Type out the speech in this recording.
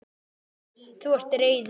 Þú ert reiður.